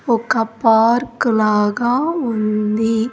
ఒక పార్క్ లాగా ఉంది.